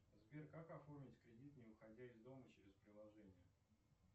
сбер как оформить кредит не выходя из дома через приложение